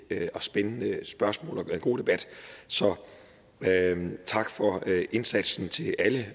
og spændende spørgsmål og en god debat så tak for indsatsen til alle